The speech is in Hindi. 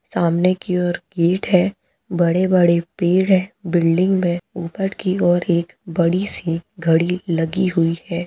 सामने की और ईंट है बड़े बड़े पेड़ है बिल्डिंग है ऊपर की औरएक बड़ी सी घड़ी लगी हुयी है।